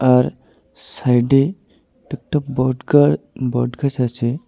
আর সাইডে একটা বটগাছ বটগাছ আছে.